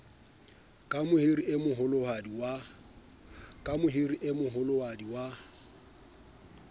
ke mohiri e moholohadi wa